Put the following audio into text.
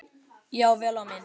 Já, vel á minnst.